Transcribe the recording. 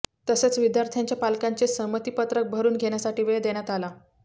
तसेच विद्यार्थ्यांच्या पालकांचे संमतीपत्रक भरून घेण्यासाठी वेळ देण्यात आला